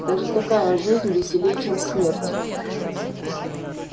даже такая жизнь веселей чем смерть